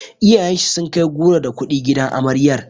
Iyayen shi sun kai goro da kuɗi gidan amaryar.